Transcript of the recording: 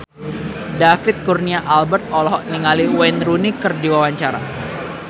David Kurnia Albert olohok ningali Wayne Rooney keur diwawancara